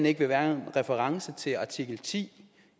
ikke vil være en reference til artikel ti